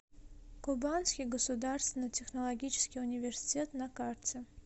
кубанский государственный технологический университет на карте